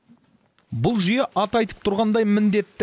бұл жүйе аты айтып тұрғандай міндетті